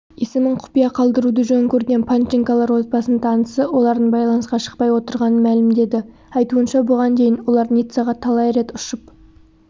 есімін құпия қалдыруды жөн көрген панченколар отбасының танысы олардың байланысқа шықпай отырғанын мәлімдеді айтуынша бұған дейін олар ниццаға талай рет ұшып